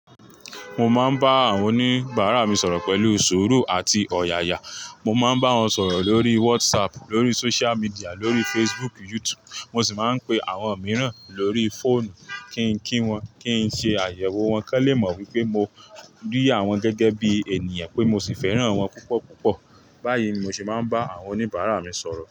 Mo máa ń bá àwọn oníbàárà mi sọ̀rọ̀ pẹ̀lú sùúrù àti ọ̀yàyà, mo máa ń bá wọn sọ̀rọ̀ lórí WhatsApp, lórí social media, lórí Facebook, YouTube. Mo sì máa ń pe àwọn mìíràn lórí fóònù kí n kí wọn, kín ṣe àyẹ̀wò wọn kọ́n lè mọ̀ wípé mo rí àwọn gẹ́gẹ́ bí ènìyàn pé mo sì fẹ́ràn wọn púpọ̀ púpọ̀. Báyìí ni mo sì máa ń bá àwọn oníbàárà mi sọ̀rọ̀.